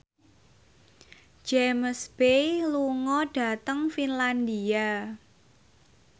James Bay lunga dhateng Finlandia